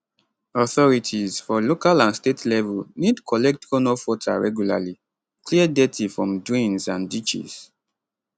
authorities for local and state level need collect runoff water regularly clear dirty from drains and ditches